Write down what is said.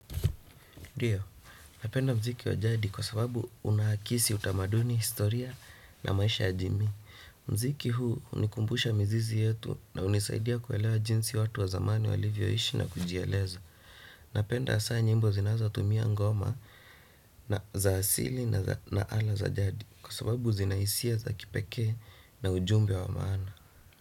Ndio, napenda mziki wa jadi kwa sababu unaakisi utamaduni historia na maisha ya jimii. Mziki huu unikumbusha mizizi yetu na unisaidia kuelewa jinsi watu wa zamani walivyoishi na kujieleza. Napenda asa nyimbo zinazatumia ngoma na za asili na za na ala za jadi kwa sababu zinaisia za kipekee na ujumbe wa maana.